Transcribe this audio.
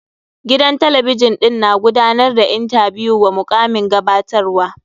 Gidan talabijin ɗin na gudanar da intabiyu wa mukamin gabatarwa.